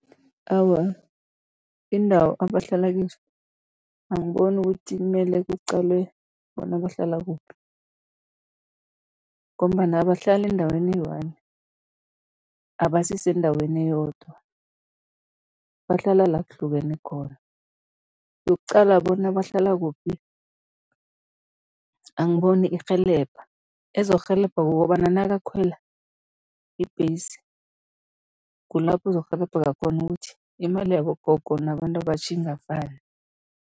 Awa, iindawo abahlala kizo angiboni ukuthi mele kuqalwe bona bahlala kuphi ngombana abahlala endaweni eyi-one, abasisendaweni eyodwa, bahlala la kuhlukene khona. Yokuqala bona bahlala kuphi angiboni irhelebha, ezokurhelebha kukobana nakakhwela ibhesi, kula kuzokurhelebheka khona ukuthi imali yabogogo nabantu abatjha ingafani.